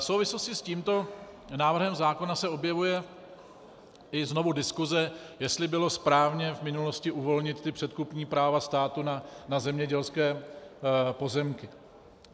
V souvislosti s tímto návrhem zákona se objevuje znovu i diskuse, jestli bylo správně v minulosti uvolnit ta předkupní práva státu na zemědělské pozemky.